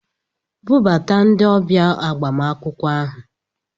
Bubata ndi ọbịa agbamakwụkwọ ahụ!